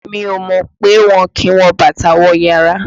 Mi ò mọ̀ pé wọn kì ń wọ bàtà wọ yàrá